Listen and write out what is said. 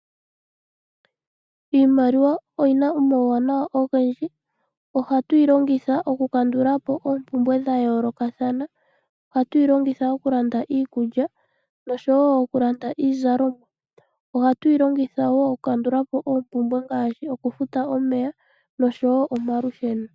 Iimaliwa oyina omauwanawa ogendji ohatu yi longitha okukandulapo oompumbwe dha yoolokathana ohatu yi longitha okulanda iikulya nokulanda iizalomwa ohatu yi longitha okukandulapo oompumbwe ngaashi okufuta omeya nomalusheno.